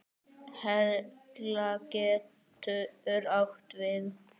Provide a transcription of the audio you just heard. Hella getur átt við